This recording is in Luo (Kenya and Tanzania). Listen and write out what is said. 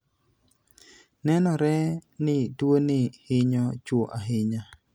Nenore ni tuoni hinyo chwo ahinya.